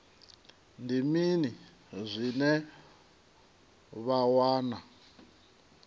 ndi mini zwine vha wana